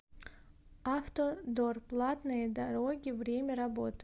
автодор платные дороги время работы